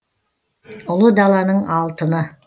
ұлы даланың алтыны